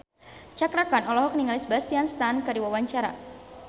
Cakra Khan olohok ningali Sebastian Stan keur diwawancara